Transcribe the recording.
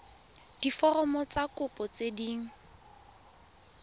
diforomo tsa kopo tse dint